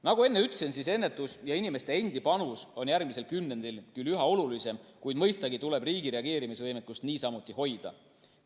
Nagu enne ütlesin, ennetus ja inimeste endi panus on järgmisel kümnendil küll üha olulisem, kuid mõistagi tuleb riigi reageerimisvõimekust niisamuti hoida.